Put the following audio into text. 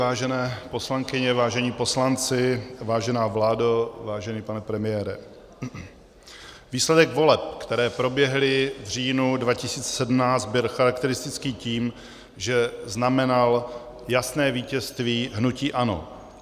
Vážené poslankyně, vážení poslanci, vážená vládo, vážený pane premiére, výsledek voleb, které proběhly v říjnu 2017, byl charakteristický tím, že znamenal jasné vítězství hnutí ANO.